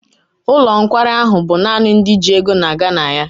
Ụlọ nkwari ahụ bụ naanị ndị ji ego na-aga na ya.